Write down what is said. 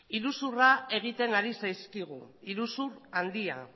iruzurra egiten ari zaizkigu iruzur handia